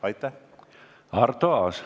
Arto Aas.